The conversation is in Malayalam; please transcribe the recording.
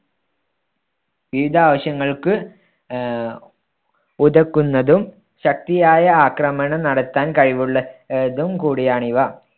വിവിധ ആവശ്യങ്ങൾക്ക് ആഹ് ഉതകുന്നതും ശക്തിയായ ആക്രമണം നടത്താൻ കഴിവുള്ള~തും കൂടിയാണ് ഇവ.